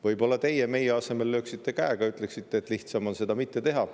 Võib-olla teie meie asemel lööksite käega, ütleksite, et lihtsam on seda mitte teha.